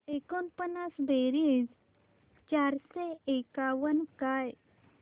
एकोणपन्नास बेरीज चारशे एकावन्न काय